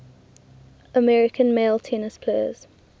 american male tennis players